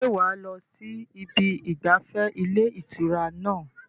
ṣé wà á lọ sí ibi ìgbafẹ́ ilé ìtura náà?